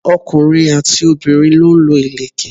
ọkùnrin àti obìnrin lọ ń lo ìlẹ̀kẹ̀.